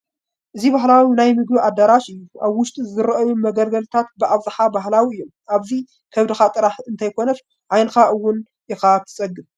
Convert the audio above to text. እዚ ባህላዊ ናይ ምግቢ ኣዳራሽ እዩ፡፡ ኣብ ውሽጡ ዝረአዩ መገልገልታት ብኣብዝሓ ባህላዊ እዮም፡፡ ኣብዚ ከብድኻ ጥራይ እንተይኮነስ ዓይንኻ እውን ኢኻ ትፀግብ፡፡